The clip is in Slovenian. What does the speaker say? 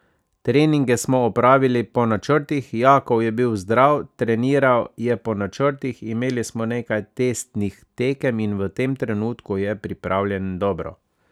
Treninge smo opravili po načrtih, Jakov je bil zdrav, treniral je po načrtih, imeli smo nekaj testnih tekem in v tem trenutku je pripravljen dobro.